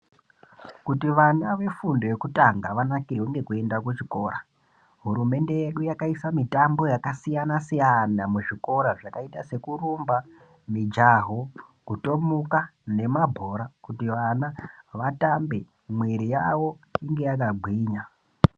Kuti vana vefundo yekutanga vanakirwe ngekuende kuchikora, hurumende yedu yakaise mitambo yakasiyana -siyana muzvikoro yakaite sekurumba, mijaho, kutomuka nemabhora kuti vana vatambe mwiri yavo inge yakagwinya.